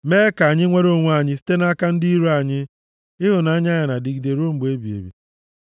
Mee ka anyị nwere onwe anyị site nʼaka ndị iro anyị, Ịhụnanya ya na-adịgide ruo mgbe ebighị ebi.